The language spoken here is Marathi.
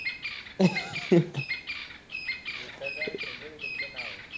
विठ्ठल राव शेंगुळे तुमचे नाव